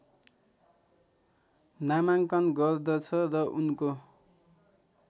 नामाङ्कन गर्दछ र उनको